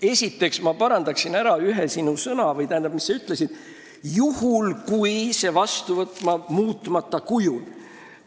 Esiteks, ma parandan ära selle, mis sa ütlesid – juhul, kui see eelnõu võetakse vastu muutmata kujul.